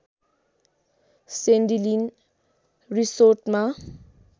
Sandy Lynn रिसोर्टमा